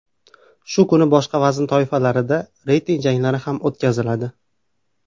Shu kuni boshqa vazn toifalarida reyting janglari ham o‘tkaziladi.